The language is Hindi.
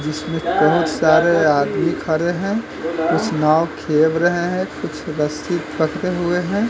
जिसमें बहोत सारे आदमी खड़े हैं कुछ नाव खेव रहे हैं कुछ रस्सी पकड़े हुए हैं।